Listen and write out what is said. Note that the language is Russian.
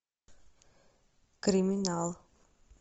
криминал